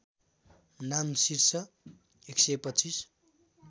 नाम शीर्ष १२५